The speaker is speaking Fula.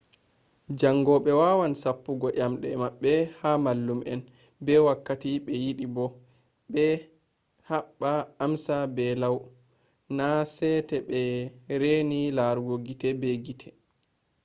jaangoɓe wawan sappugo nyamɗe maɓɓe ha mallum'en be wakkati be yiɗi bo'o ɓe heɓba amsa be lau na sete be reni larugo gite be gite ba